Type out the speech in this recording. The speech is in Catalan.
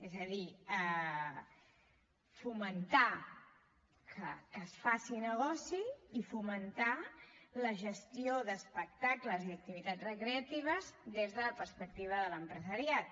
és a dir fomentar que es faci negoci i fomentar la gestió d’espectacles i d’activitats recreatives des de la perspectiva de l’empresariat